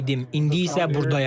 İndi isə burdayam.